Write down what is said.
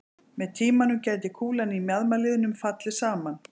Með tímanum gæti kúlan í mjaðmarliðnum fallið saman.